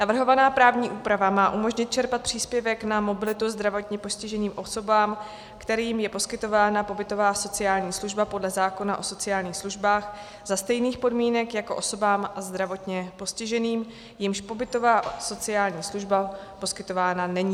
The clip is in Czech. Navrhovaná právní úprava má umožnit čerpat příspěvek na mobilitu zdravotně postiženým osobám, kterým je poskytována pobytová sociální služba podle zákona o sociálních službách, za stejných podmínek jako osobám zdravotně postiženým, jimž pobytová sociální služba poskytována není.